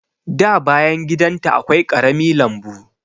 Da bayan gidan ta akwai ƙarami lambu.